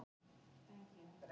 Blessuð, þú frestar því.